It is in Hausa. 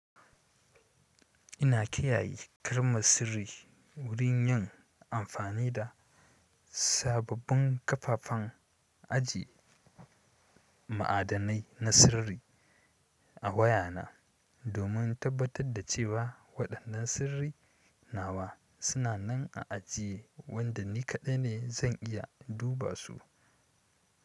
Ina kiyaye kalmar sirri wurin yin amfani da sababbin kafafen aji ma'adanai na sirri. A waya na domin tabbatar da cewa waɗannan sirri nawa suna nan a ajiye wanda ni kaɗai ne zan iya duba su.